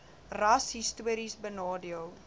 ras histories benadeel